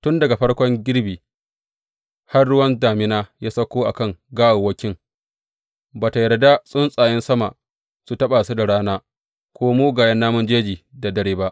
Tun daga farkon girbi har ruwa damina ya sauko a kan gawawwakin, ba tă yarda tsuntsayen sama su taɓa su da rana ko mugayen namun jeji da dare ba.